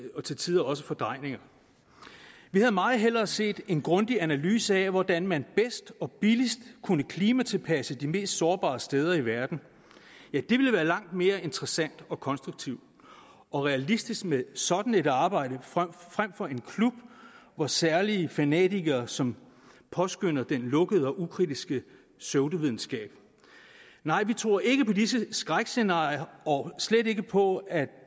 og til tider også fordrejninger vi havde meget hellere set en grundig analyse af hvordan man bedst og billigst kunne klimatilpasse de mest sårbare steder i verden ja det ville være langt mere interessant og konstruktivt og realistisk med sådan et arbejde frem for en klub for særlige fanatikere som påskønner den lukkede og ukritiske pseudovidenskab nej vi tror ikke på disse skrækscenarier og slet ikke på at